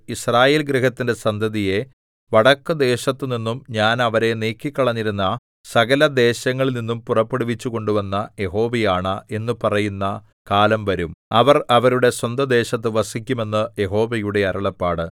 യിസ്രായേൽ ഗൃഹത്തിന്റെ സന്തതിയെ വടക്കുദേശത്തുനിന്നും ഞാൻ അവരെ നീക്കിക്കളഞ്ഞിരുന്ന സകലദേശങ്ങളിൽനിന്നും പുറപ്പെടുവിച്ചു കൊണ്ടുവന്ന യഹോവയാണ എന്നു പറയുന്ന കാലം വരും അവർ അവരുടെ സ്വന്തദേശത്തു വസിക്കും എന്ന് യഹോവയുടെ അരുളപ്പാട്